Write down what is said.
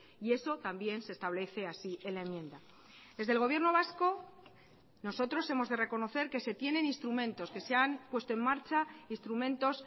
y eso también se establece así en la enmienda desde el gobierno vasco nosotros hemos de reconocer que se tienen instrumentos que se han puesto en marcha instrumentos